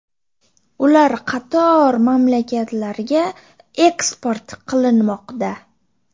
Ular qator mamlakatlarga eksport qilinmoqda.